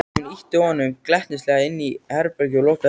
Hún ýtti honum glettnislega inn í herbergið og lokaði hurðinni.